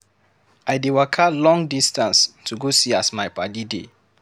I dey waka long distance to go see as my paddy dey.